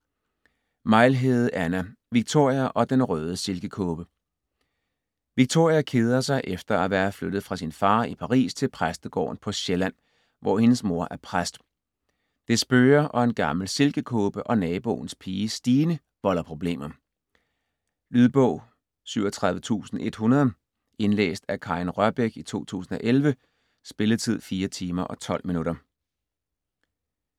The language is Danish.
Mejlhede, Anna: Victoria og den røde silkekåbe Victoria keder sig efter at være flyttet fra sin far i Paris til præstegården på Sjælland, hvor hendes mor er præst. Det spøger og en gammel silkekåbe og naboens pige Stine volder problemer. Lydbog 37100 Indlæst af Karin Rørbech, 2011. Spilletid: 4 timer, 12 minutter.